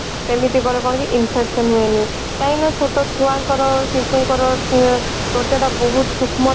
ଏମିତି କଲେ କଣ କି infection ହୁଏନି କାହିଁକି ନା ଛୋଟ ଛୁଆ ଙ୍କ ର ଶିଶୁ ଙ୍କ ର ଉଁ ତ୍ଵଚା ଟା ବହୁତ ସୂକ୍ଷ୍ମ